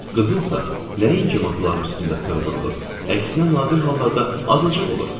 Qızılsa nəinki masaların üstündə tığ vurulur, əksinə, nadir hallarda azacıq olur.